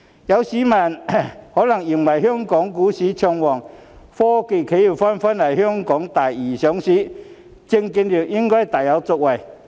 有市民可能認為，香港股市暢旺，科技企業紛紛來港第二上市，證券業應該大有作為。